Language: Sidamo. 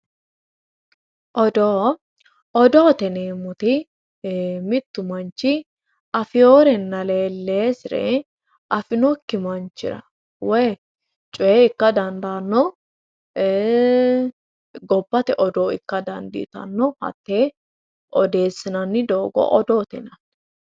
odoo odoote yineemmoti mittu manchi afeeworenna leelleesire afinoikki manchira woy coy ikka dandaanno gobbate odoo ikka dandiitanno hatte odeessinanni doogo odoote yinanni